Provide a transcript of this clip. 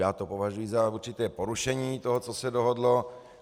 Já to považuji za určité porušení toho, co se dohodlo.